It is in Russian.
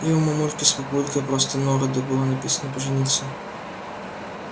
и у мамульки с папулькой просто на роду было написано пожениться